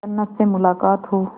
जन्नत से मुलाकात हो